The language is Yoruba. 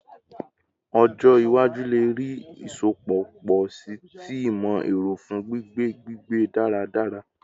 Ọjọ iwaju le rii isọpọ pọ si ti imọ-ẹrọ fun gbigbe gbigbe daradara